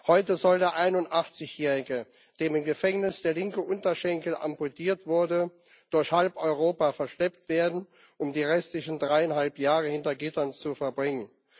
Heute soll der 81jährige, dem im Gefängnis der linke Unterschenkel amputiert wurde, durch halb Europa verschleppt werden, um die restlichen dreieinhalb Jahre hinter Gittern zu verbringen.